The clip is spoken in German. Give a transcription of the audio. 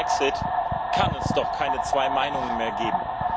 Nach dem Brexit kann es doch keine zwei Meinungen mehr geben.